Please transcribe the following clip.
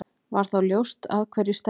Var þá ljóst að hverju stefndi.